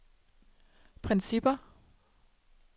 principper